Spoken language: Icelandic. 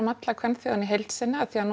alla kvenþjóðina í heild sinni af því að